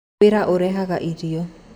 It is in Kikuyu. Wĩra ũrehaga irio.